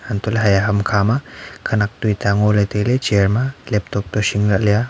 antoh heya humkha ma khanak tota ngo ley tai ley laptop toh sin la ley.